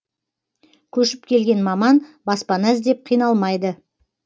көшіп келген маман баспана іздеп қиналмайды